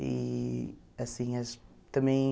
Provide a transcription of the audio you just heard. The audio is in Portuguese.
E assim acho também